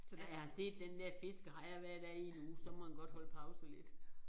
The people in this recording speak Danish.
Så når jeg har set den der fiskehejre hver dag i en uge så må den godt holde pause lidt